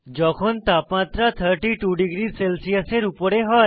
যখন তাপমাত্রা 32 ডিগ্রী সেলসিয়াসের উপরে হয়